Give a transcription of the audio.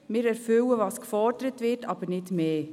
Wir erfüllen, was gefordert wird, aber nicht mehr.